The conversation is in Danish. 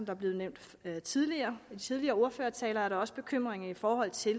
er blevet nævnt i de tidligere tidligere ordførertaler også nogle bekymringer i forhold til